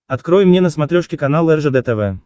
открой мне на смотрешке канал ржд тв